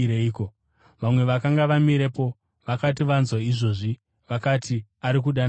Vamwe vakanga vamirepo vakati vanzwa izvozvo, vakati, “Ari kudana Eria.”